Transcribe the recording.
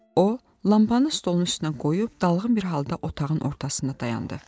O, lampanı stolun üstünə qoyub dalğın bir halda otağın ortasında dayandı.